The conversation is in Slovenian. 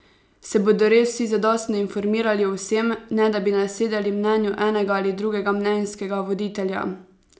Se bodo res vsi zadostno informirali o vsem, ne da bi nasedali mnenju enega ali drugega mnenjskega voditelja?